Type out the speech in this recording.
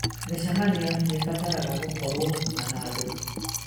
Mĩcemanio nĩ ĩbataraga gũkorũo na handũ